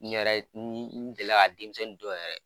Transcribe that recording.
N yɛrɛ ye n gɛlɛya ka denmisɛnnin dɔw yɛrɛ